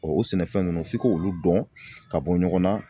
o sɛnɛfɛn ninnu f'i k'olu dɔn ka bɔ ɲɔgɔnna